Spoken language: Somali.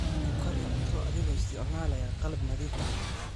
Ku kari cunto adigoo isticmaalaya qalab nadiif ah.